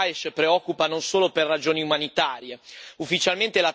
Ufficialmente, l'attacco è stato sferrato contro la minaccia terroristica.